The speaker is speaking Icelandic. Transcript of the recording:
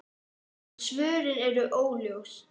En svörin eru óljós.